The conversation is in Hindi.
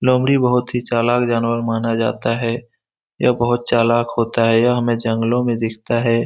लोमड़ी बहुत ही चालाक जानवर माना जाता है यह बहुत चालक होता है यह हमें जंगलो में दिखता है।